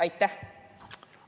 Aitäh!